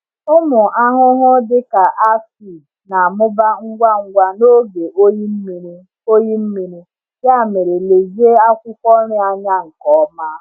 Ụmụ ahụhụ dịka aphid na-amụba ngwa ngwa n’oge oyi mmiri, oyi mmiri, ya mere lezie akwụkwọ nri anya nke ọma.